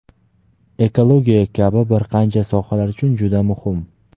ekologiya kabi bir qancha sohalar uchun juda muhim.